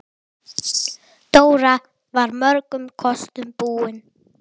Dóra var mörgum kostum búin.